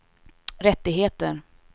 rättigheter